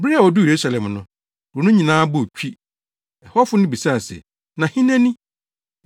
Bere a oduu Yerusalem no, kurow no nyinaa bɔɔ twi. Ɛhɔfo no bisae se, “Na hena ni?”